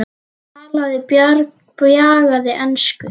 Talaði bjagaða ensku: